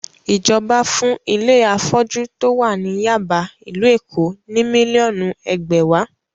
Ìjọba fún ilé afọ́jú tó wà ní Yáàbá, ìlú Èkó ní mílíọ̀nù ẹgbẹ̀wàá.